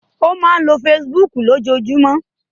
Ó máa lo Facebook lójoojúmọ́.